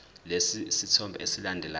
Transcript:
lesi sithombe esilandelayo